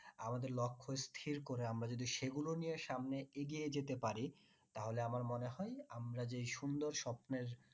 আমাদের লক্ষ স্থির করে আমরা যদি সেগুলো নিয়ে সামনে এগিয়ে যেতে পারি তাহলে আমার মনে হয় আমরা যেই সুন্দর স্বপ্নের